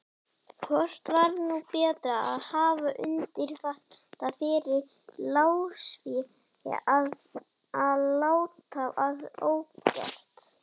Hvort var nú betra að hafa unnið þetta fyrir lánsfé eða láta það ógert?